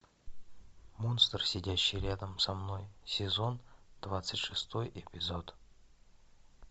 монстр сидящий рядом со мной сезон двадцать шестой эпизод